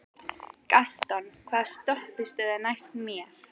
Gaston, hvaða stoppistöð er næst mér?